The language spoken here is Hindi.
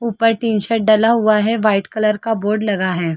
उपर टी-शर्ट डला हुआ है वाइट कलर का बोर्ड लगा हुआ हैं ।